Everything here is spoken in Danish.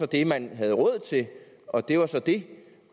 det man havde råd til og det var så det